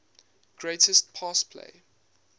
greatest pass play